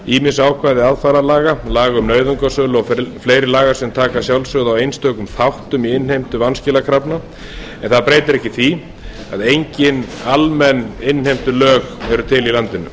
ýmis ákvæði aðfararlaga laga um nauðungarsölu og fleiri laga sem taka að sjálfsögðu á einstaka þáttum í innheimtu vanskilakrafna en það breytir ekki því að enginn almenn innheimtulög eru til í landinu